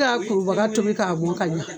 kurubaga tobi k'a mɔn ka ɲa.